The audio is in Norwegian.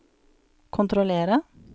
kontrollere